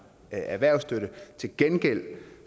erhvervsstøtte til gengæld